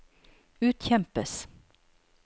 utkjempes